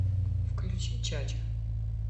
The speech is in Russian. включи чача